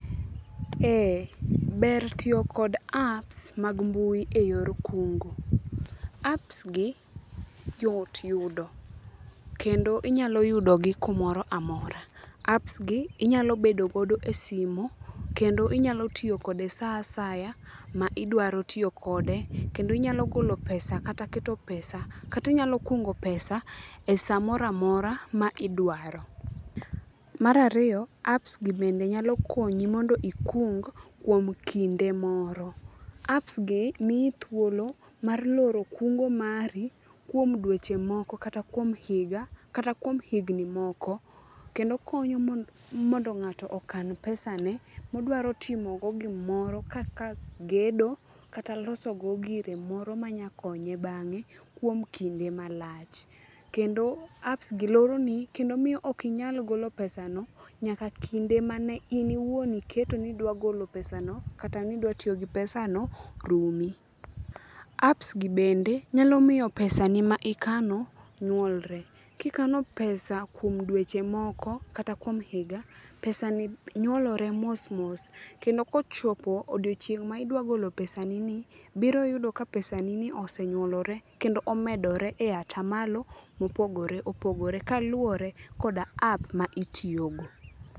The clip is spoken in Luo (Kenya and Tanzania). Ee, ber tiyo kod apps mag mbui e yor kungo. Apps gi yot yudo kendo inyalo yudogi kumoro amora. Apps gi inyalo bedogo e simo kendo inyalo tiyokode sa asaya ma idwaro tiyo kode. Kendo inyalo golo pesa kata keto pesa, katinyalo kungo pesa e samoramora ma idwaro. Mar ariyo, apps gi bende nyalo konyi mondo ikung kuom kinde moro. Apps gi miyi thuolo mar loro kungo mari kuom dweche moko kata kuom higa, kata kuom higni moko. Kendo konyo mondo ng'ato okan pesa ne modwaro timogo gimoro kaka gedo kata losogo gire moro manyakonye bang'e kuom kinde malach. Kendo apps gi loroni kendo miyo okinyal golo pesa no nyaka kinde mane in iwuon iketo ni idwagolo pesa no kata nidwatiyo gi pesa no rumi. Apps gi bende nyalo miyo pesa ni ma ikano nywolre. Kikano pesa kuom dweche moko kata kuom higa, pesa ni nywolore mos mos. Kendo kochopo odieochieng' maidwa golo pesa ni ni, biro yudo ka pesa ni ni osenywolore kendo omedore e ata malo mopogore opogore kaluwore koda app ma itiyogo.